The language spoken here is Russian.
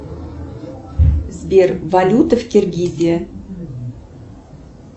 сбер валюта в киргизии